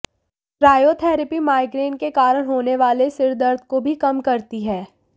cryotherapy migraine के कारण होने वाले सिर दर्द को भी कम करती है